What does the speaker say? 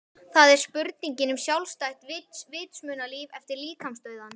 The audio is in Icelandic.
Það er spurningin um sjálfstætt vitsmunalíf eftir líkamsdauðann.